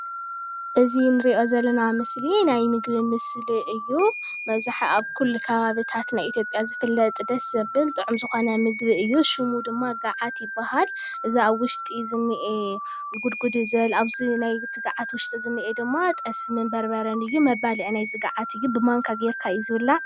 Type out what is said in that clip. እዚ ንሪኦ ዘለና ምስሊ ናይ ምግቢ ምስሊ እዩ። መብዛሕቲኡ ኣብ ኩሉ ከባብታት ናይ ኢትዮጵያ ዝፍለጥ ደስ ዘብል ጥዑም ዝኾነ ምግቢ እዩ ሽሙ ድማ ጋዓት ይበሃል። እዚ ኣብ ውሽጢ ዝኒአ ጉድጉድ ዝበለ ኣብዚ ናይቲ ጋዓት ውሽጢ ዝኒአ ድማ ጠስምን በርበረን እዩ። መባልዒ ናይዚ ጋዓት እዩ ብማንካ ጌርካ እዩ ዝብላዕ።